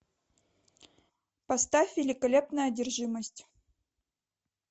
поставь великолепная одержимость